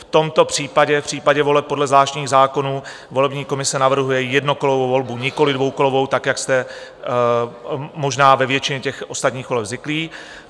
v tomto případě, v případě voleb podle zvláštních zákonů volební komise navrhuje jednokolovou volbu, nikoliv dvoukolovou tak, jak jste možná ve většině těch ostatních voleb zvyklí;